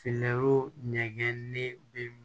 Finɛro ɲɛgɛnnen bɛ